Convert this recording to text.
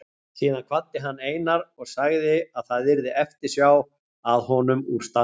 Síðan kvaddi hann Einar og sagði að það yrði eftirsjá að honum úr staðnum.